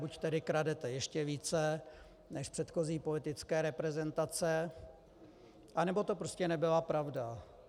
Buď tedy kradete ještě více než předchozí politické reprezentace, anebo to prostě nebyla pravda.